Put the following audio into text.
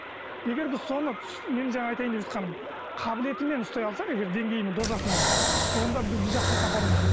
егер біз соны мен жаңа айтайын деп жатқаным қабылетімен ұстай алсақ егер деңгейінің дозасымен онда бізді жақсылыққа апаруы мүмкін